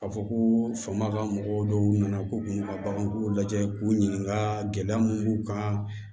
Ka fɔ ko faama ka mɔgɔw dɔw nana k'u kunna ka bagan k'u lajɛ k'u ɲininka gɛlɛya mun b'u kan